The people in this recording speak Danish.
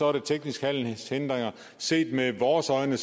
er det tekniske handelshindringer set med vores øjne